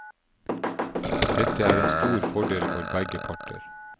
Dette er en stor fordel for begge parter.